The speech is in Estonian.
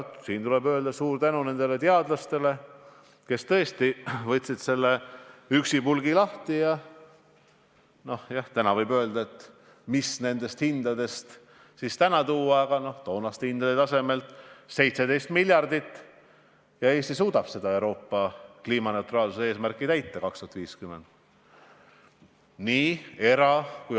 Siin tuleb öelda suur tänu nendele teadlastele, kes võtsid selle teema üksipulgi lahti ja näitasid, et toonaste hindade tasemel läheb vaja 17 miljardit, et Eesti suudaks Euroopa kliimaneutraalsuse eesmärgi 2050. aastaks täita.